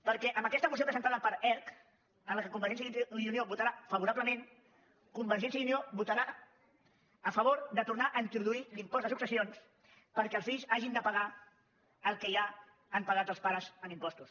perquè amb aquesta moció presentada per erc a què convergència i unió votarà favorablement convergència i unió votarà a favor de tornar a introduir l’impost de successions perquè els fills hagin de pagar el que ja han pagat els pares en impostos